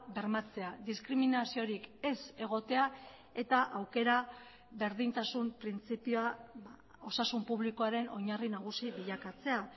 bermatzea diskriminaziorik ez egotea eta aukera berdintasun printzipioa osasun publikoaren oinarri nagusi bilakatzea